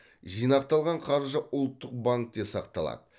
жинақталған қаржы ұлттық банкте сақталады